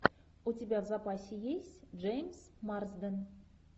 у тебя в запасе есть джеймс марсден